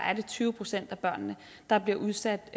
er det tyve procent af børnene der bliver udsat